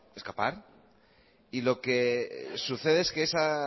escapar y lo que sucede es que esa